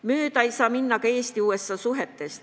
Mööda ei saa minna ka Eesti ja USA suhetest.